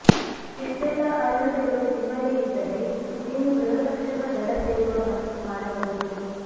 ಇಷ್ಟೆಲ್ಲಾ ಅರ್ಹತೆಗಳು ನಿಮ್ಮಲ್ಲಿ ಇದ್ದರೆ ನೀವು ಗೃಹರಕ್ಷಕ ದಳ ಸೇರುವ ಮನಸ್ಸು ಮಾಡಬಹುದು